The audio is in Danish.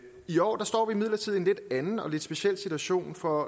i år står vi imidlertid i en lidt anden og lidt speciel situation for